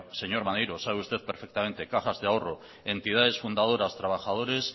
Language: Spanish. señor maneiro sabe usted perfectamente cajas de ahorro entidades fundadoras trabajadores